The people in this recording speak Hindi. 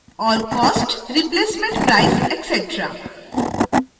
और cost replacement price etc